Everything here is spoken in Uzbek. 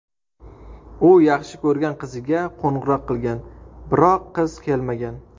U yaxshi ko‘rgan qiziga qo‘ng‘iroq qilgan, biroq qiz kelmagan.